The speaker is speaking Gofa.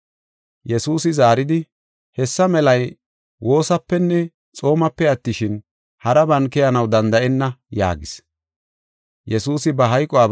Yesuusi zaaridi, “Hessa melay woosapenne xoomape attishin, haraban keyanaw danda7enna” yaagis.